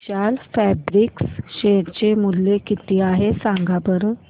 विशाल Fabrics share चे मूल्य किती आहे सांगा बरं